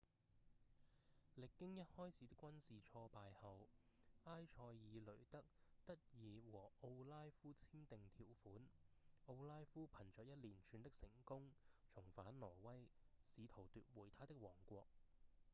歷經一開始的軍事挫敗後埃塞爾雷德得以和奧拉夫簽訂條款奧拉夫憑著一連串的成功重返挪威試圖奪回他的王國